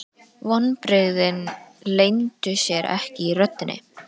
Vonbrigðin leyndu sér ekki í röddinni.